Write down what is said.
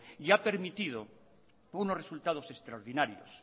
y ha permitido unos resultados extraordinarios